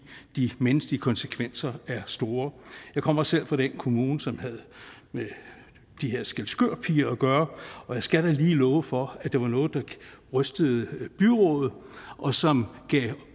de menneskelige konsekvenser er store jeg kommer selv fra den kommune som havde med de her skælskørpiger at gøre og jeg skal da lige love for at det var noget der rystede byrådet og som gav